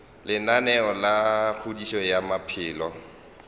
lenaneo la kgodišo ya maphelo